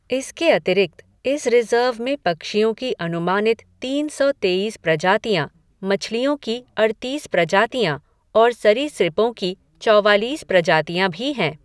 इसके अतिरिक्त, इस रिज़र्व में पक्षियों की अनुमानित तीन सौ तेईस प्रजातियाँ, मछलियों की अड़तीस प्रजातियाँ और सरीसृपों की चौवालीस प्रजातियां भी हैं।